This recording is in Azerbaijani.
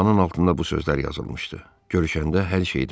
Ünvanın altında bu sözlər yazılmışdı: Görüşəndə hər şeyi danışaram.